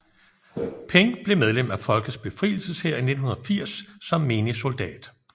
Peng blev medlem af Folkets Befrielseshær i 1980 som menig soldat